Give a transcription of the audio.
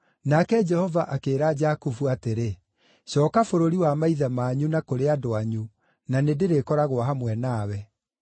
Nake Jehova akĩĩra Jakubu atĩrĩ, “Cooka bũrũri wa maithe manyu na kũrĩ andũ anyu, na nĩndĩrĩkoragwo hamwe nawe.”